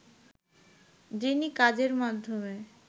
যিনি কাজের মাধ্যমে